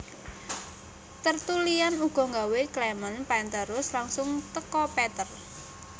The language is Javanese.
Tertullian ugo nggawe Clement penterus langsung teko Peter